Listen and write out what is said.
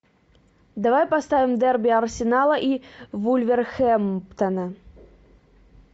давай поставим дерби арсенала и вулверхэмптона